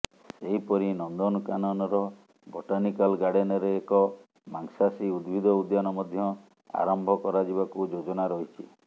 ସେହିପରି ନନ୍ଦନକାନରର ବଟାନିକାଲ୍ ଗାର୍ଡେନରେ ଏକ ମାଂସାସୀ ଉଦ୍ଭିଦ ଉଦ୍ୟାନ ମଧ୍ୟ ଆରମ୍ଭ କରାଯିବାକୁ ଯୋଜନା ରହିଛି